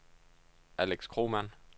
Alex Kromann